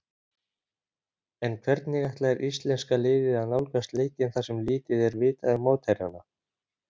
En hvernig ætlar íslenska liðið að nálgast leikinn þar sem lítið er vitað um mótherjana?